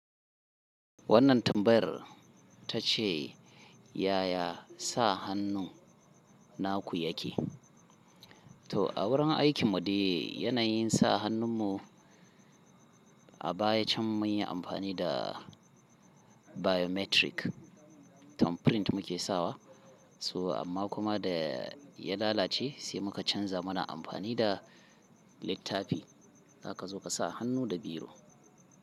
Wannan tambayar ta ce yaya sa hannu naku yake. To a wurin aikin mu de yanayin sa hannun mu a baya can mun yi amfani da biometric thumbprint muke sawa. Toh amma kuma da ya lalace sai muka canza muna amfani da littafi. Zaka zo ka sa hannu da biro.